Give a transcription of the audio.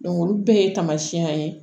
olu bɛɛ ye taamasiyɛn ye